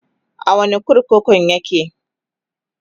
a wani kurkukun yake?